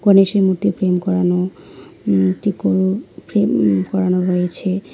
গণেশের মূর্তি ফ্রেম করানো উম ফ্রেম উম করানো রয়েছে।